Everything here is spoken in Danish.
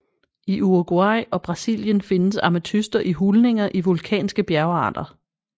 I Uruguay og Brasilien findes ametyster i hulninger i vulkanske bjergarter